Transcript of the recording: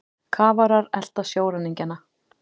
Kafarar elta sjóræningjana